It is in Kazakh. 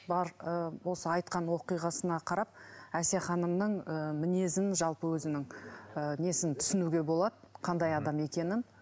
бар ы осы айтқан оқиғасына қарап әсия ханымның ы мінезін жалпы өзінің ы несін түснуге болады қандай адам екенін